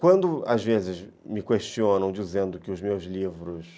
Quando às vezes me questionam dizendo que os meus livros